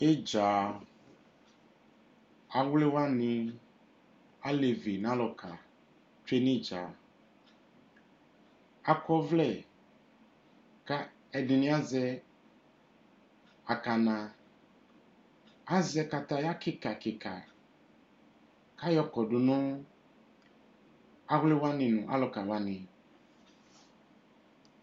Idzaa, awli wani, alevi nʋ alʋka tsoe nʋ idzaa Ak'ɔvlɛ ka ɛdini azɛ akana Azɛ kataya kika, kika k'ayɔ kɔdʋ nʋ awli wani nʋ alʋka wani